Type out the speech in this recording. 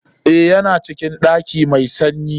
Eh, Ya na cikin ɗaki mai sanyi.